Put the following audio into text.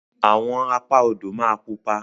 Àwọn Apá odò ma pupa.